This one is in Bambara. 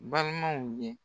Balimaw ye